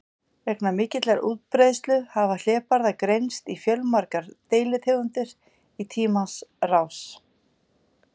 Vegna mikillar útbreiðslu hafa hlébarðar greinst í fjölmargar deilitegundir í tímans rás.